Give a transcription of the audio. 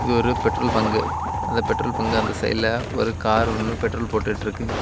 இது ஒரு petrol bunk அந்த பெட்ரோல் பங்கு அந்த சைடுல ஒரு கார் ஒன்னு பெட்ரோல் போட்டு இருக்கு.